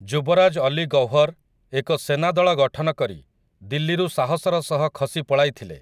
ଯୁବରାଜ ଅଲୀ ଗୌହର ଏକ ସେନାଦଳ ଗଠନ କରି ଦିଲ୍ଲୀରୁ ସାହସର ସହ ଖସି ପଳାଇଥିଲେ ।